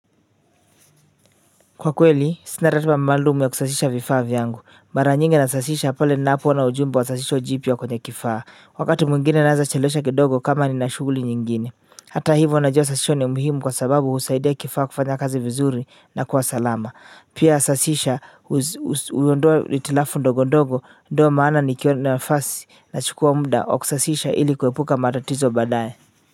Kwa kweli sina ratiba maalum ya kusasisha vifaa vyangu mara nyingi nasasisha pale ninapoona ujumbe wa sasisha jipya wa kwenye kifaa wakati mwingine naeza chelewesha kidogo kama nina shughuli nyingine hata hivyo najua sasisho ni muhimu kwa sababu husaidia ya kifaa kufanya kazi vizuri na kuwa salama pia sasisha huondoa hitilafu ndogo ndogo ndio maana nikiwa na nafasi nachukua muda wa kusasisha ili kuepuka matatizo baadaye.